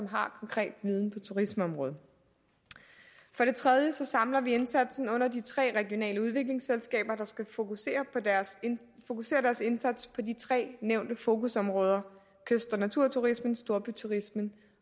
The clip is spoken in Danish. har konkret viden på turismeområdet for det tredje samler vi indsatsen under de tre regionale udviklingsselskaber der skal fokusere fokusere deres indsats på de tre nævnte fokusområder kyst og naturturismen storbyturismen